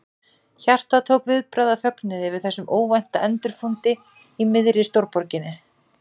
Hjartað tók viðbragð af fögnuði yfir þessum óvænta endurfundi í miðri stórborginni.